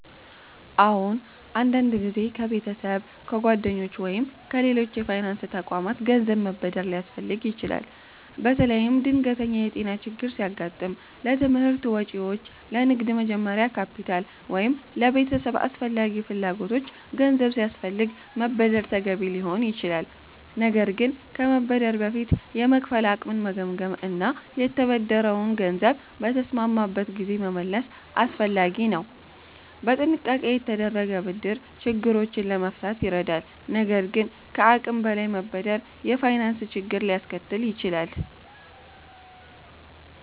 አዎን፣ አንዳንድ ጊዜ ከቤተሰብ፣ ከጓደኞች ወይም ከሌሎች የፋይናንስ ተቋማት ገንዘብ መበደር ሊያስፈልግ ይችላል። በተለይም ድንገተኛ የጤና ችግር ሲያጋጥም፣ ለትምህርት ወጪዎች፣ ለንግድ መጀመሪያ ካፒታል ወይም ለቤተሰብ አስፈላጊ ፍላጎቶች ገንዘብ ሲያስፈልግ መበደር ተገቢ ሊሆን ይችላል። ነገር ግን ከመበደር በፊት የመክፈል አቅምን መገምገም እና የተበደረውን ገንዘብ በተስማማበት ጊዜ መመለስ አስፈላጊ ነው። በጥንቃቄ የተደረገ ብድር ችግሮችን ለመፍታት ይረዳል፣ ነገር ግን ከአቅም በላይ መበደር የፋይናንስ ችግር ሊያስከትል ይችላል።